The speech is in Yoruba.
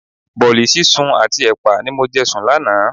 Bọ̀ọ̀li sísun àti ẹpa ni mo jẹ sùn lánàá.